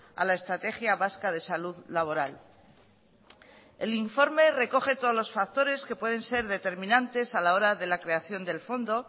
a la estrategia vasca de salud laboral el informe recoge todos los factores que pueden ser determinantes a la hora de la creación del fondo